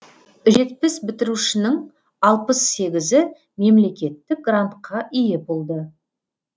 жетпіс бітірушінің алпыс сегізі мемлекеттік грантқа ие болды